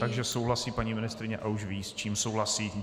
Takže souhlasí paní ministryně a už ví, s čím souhlasí.